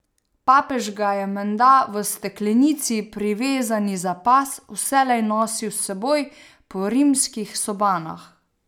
Papež ga je menda v steklenici, privezani za pas, vselej nosil s seboj po rimskih sobanah.